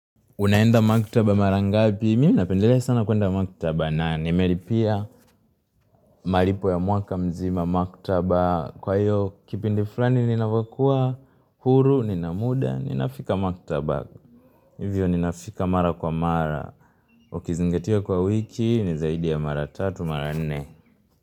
Unaenda maktaba mara ngapi? Mimi napendelea sana kuenda maktaba na nimelipia malipo ya mwaka mzima maktaba. Kwa hiyo, kipindi fulani ninapokua, huru, nina muda, ninafika maktaba. Hivyo ninafika mara kwa mara. Ukizingatia kwa wiki, ni zaidi ya mara 3, mara 4.